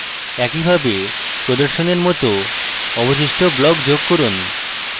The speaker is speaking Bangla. একইভাবে প্রদর্শনের মত অবশিষ্ট blocks যুক্ত করুন